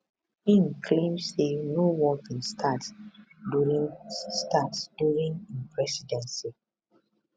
im claim say no war bin start during start during im presidency